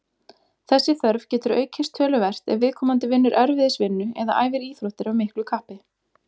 Þessi þörf getur aukist töluvert ef viðkomandi vinnur erfiðisvinnu eða æfir íþróttir af miklu kappi.